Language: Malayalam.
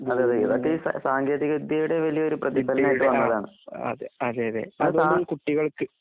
അതേയതെ ഇതൊക്കെ ഇസ സാങ്കേതികവിദ്യയുടെവലിയൊരുപ്രതിഫലനായിട്ട് വന്നതാണ്. അതുംകൊണ്ടും കുട്ടികൾക്ക്